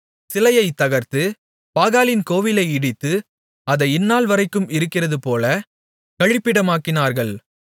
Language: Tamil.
சிலையைத் தகர்த்து பாகாலின் கோவிலை இடித்து அதை இந்நாள்வரைக்கும் இருக்கிறதுபோல கழிப்பிடமாக்கினார்கள்